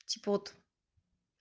типа вот